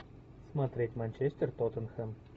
смотреть манчестер тоттенхэм